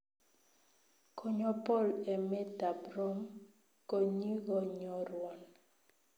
Konyo Paul emet tab Rome konyigonyorwon